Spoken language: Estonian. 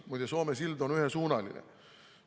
Muide, Soome sild on ühesuunaline.